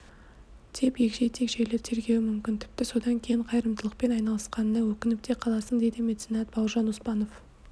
деп егжей-тегжейлі тергеуі мүмкін тіпті содан кейін қайырымдылықпен айналысқанына өкініп те қаласың дейді меценат бауыржан оспанов